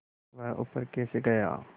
वह ऊपर कैसे गया